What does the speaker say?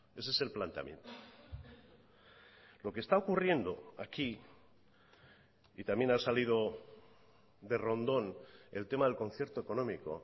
ese es el planteamiento lo que está ocurriendo aquí y también ha salido de rondón el tema del concierto económico